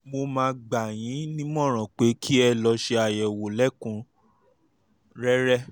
mo máa gbà yín nímọ̀ràn pé kí ẹ lọ ṣe àyẹ̀wò lẹ́kùn-únrẹ́rẹ́